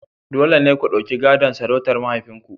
Dole ne ku ɗauki gadon sarautar mahaifinku..